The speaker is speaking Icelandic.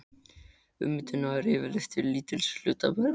Ummyndun nær yfirleitt til lítils hluta bergs.